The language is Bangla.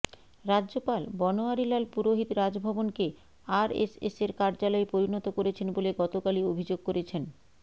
রাজ্যপাল বনোয়ারিলাল পুরোহিত রাজভবনকে আরএসএসের কার্যালয়ে পরিণত করেছেন বলে গত কালই অভিযোগ করেছেন